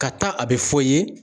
Ka taa a bɛ fɔ i ye.